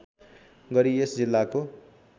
गरी यस जिल्लाको